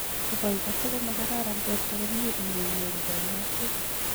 Nebo ikase komakararan borto komyei iwe inyoru kanyayset